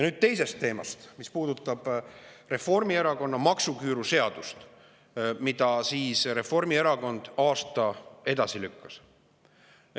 Nüüd teisest teemast, mis puudutab Reformierakonna maksuküüruseadust, mille Reformierakond aasta võrra edasi lükkas.